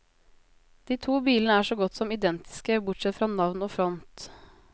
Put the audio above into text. De to bilene er så godt som identiske, bortsett fra navn og front.